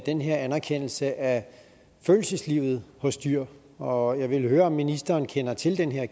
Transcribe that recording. den her anerkendelse af følelseslivet hos dyr og jeg vil høre om ministeren kender til den her